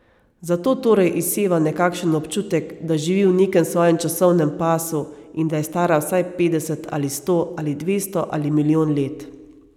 Zato torej izseva nekakšen občutek, da živi v nekem svojem časovnem pasu in da je stara vsaj petdeset ali sto ali dvesto ali milijon let.